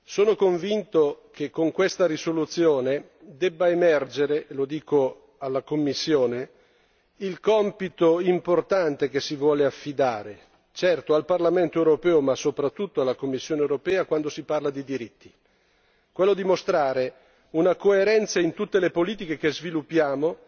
Sono convinto che con questa risoluzione debba emergere e lo dico alla Commissione il compito importante che si vuole affidare certo al Parlamento europeo ma soprattutto alla Commissione europea quando si parla di diritti quello di mostrare una coerenza in tutte le politiche che sviluppiamo